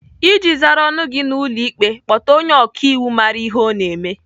Iji zara ọnụ gị n'ụlọ ikpe, kpọta onye ọkaiwu mara ihe ọ na-eme.